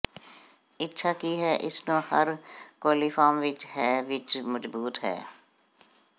ਇੱਛਾ ਕੀ ਹੈ ਇਸ ਨੂੰ ਹਰ ਕੋਲੀਫਾਰਮ ਵਿੱਚ ਹੈ ਵਿੱਚ ਮਜ਼ਬੂਤ ਹੈ